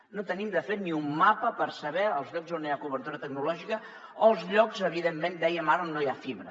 no tenim de fet ni un mapa per saber els llocs on no hi ha cobertura tecnològica o els llocs evidentment ho dèiem ara on no hi ha fibra